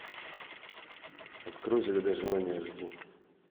открой загадай желание аш ди